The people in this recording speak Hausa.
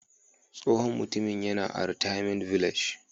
Tsohon Mutumin yana a " retirement village"